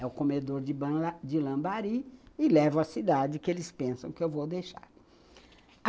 É o comedor de Lambari e levo a cidade que eles pensam que eu vou deixar.